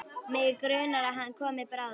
Mig grunar að hann komi bráðum.